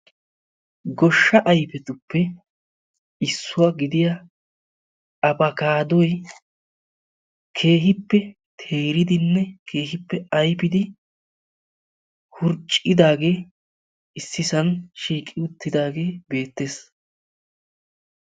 Goshshaa ayfetuppe issuwa gidiya abakaaddoy keehippe teeridinne keehippe ayfidi wurccidaage issisan shiiqi uttidaaagee beettes.